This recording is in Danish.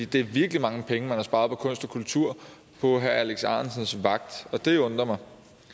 det er virkelig mange penge man har sparet på kunst og kultur på herre alex ahrendtsens vagt og det undrer mig